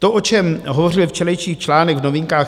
To, o čem hovořil včerejší článek v Novinkách.